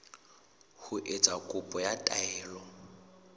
ho etsa kopo ya taelo